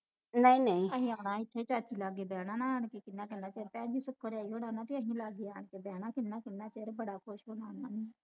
ਅਸੀਂ ਆਉਣਾ ਇਥੇ ਚਾਚੀ ਲਾਗੇ ਬਹਿਣਾ ਨਾ ਆਣ ਕੇ ਕਿੰਨਾ ਕਿੰਨਾ ਚਿਰ ਅਹੀ ਲਾਗੇ ਆ ਕੇ ਬਹਿਣਾ ਕਿੰਨਾ ਕਿੰਨਾ ਚਿਰ ਬੜਾ ਖੁਸ਼ ਹੋਣਾ ਉਨ੍ਹਾਂ ਨੇ